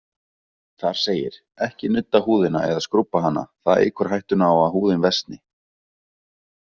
Þar segir: Ekki nudda húðina, eða skrúbba hana, það eykur hættuna á að húðin versni.